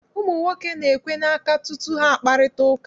Ụmụ nwoke na-ekwe n'aka tutu ha akparịta ụka.